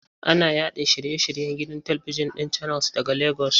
Ana yaɗa shiye-shiryen gidan talibijin ɗin Channels daga Legas.